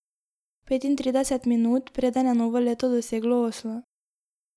Petintrideset minut, preden je novo leto doseglo Oslo.